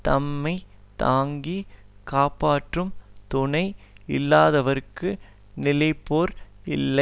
தம்மை தாங்கி காப்பாற்றும் துணை இல்லாதவர்க்கு நிலைபேறு இல்லை